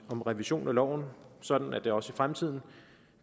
om revision af loven sådan at det også i fremtiden